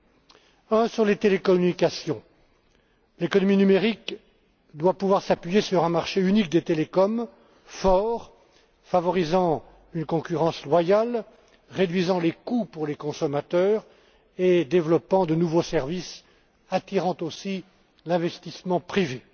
Premièrement, les télécommunications. L'économie numérique doit pouvoir s'appuyer sur un marché unique des télécoms fort, favorisant une concurrence loyale, réduisant les coûts pour les consommateurs et développant des nouveaux services attirant aussi l'investissement privé.